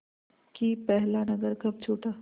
कि पहला नगर कब छूटा